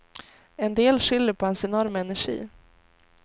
En del skyller på hans enorma energi.